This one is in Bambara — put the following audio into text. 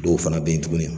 Dɔw fana bɛ yen tugun